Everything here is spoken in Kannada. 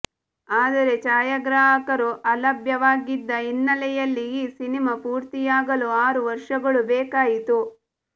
ಆದರೆ ಛಾಯಾಗ್ರಾಹಕರು ಅಲಭ್ಯವಾಗಿದ್ದ ಹಿನ್ನಲೆಯಲ್ಲಿ ಈ ಸಿನಿಮಾ ಪೂರ್ತಿಯಾಗಲು ಆರು ವರ್ಷಗಳು ಬೇಕಾಯಿತು